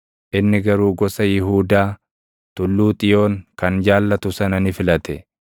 inni garuu gosa Yihuudaa, Tulluu Xiyoon kan jaallatu sana ni filate.